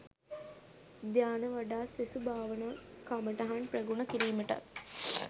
ධ්‍යාන වඩා සෙසු භාවනා කමටහන් ප්‍රගුණ කිරීමටත්